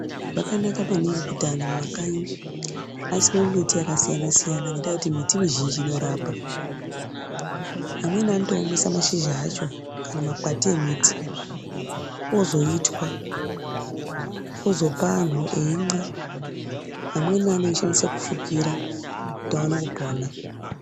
Zvakanaka maningi kuti anhu mumakanyi ,asime miti yakasiyana-siyana ngendaa yekuti miti mizhinji inorapa. Amweni anotoomesa mashizha acho, kana makwati emiti, ozoitwa, ozopa anhu eimwa. Amweni anoshandiswe mufukira kuti aone kupona.